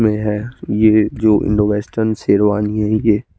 नया ये जो इंडो वेसटन शेरवानी है ये --